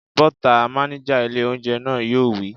Bọ́ta!, mánéjà ilé óúnjẹ náà yóò wí